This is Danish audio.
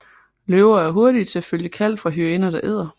Løver er hurtige til at følge kald fra hyæner der æder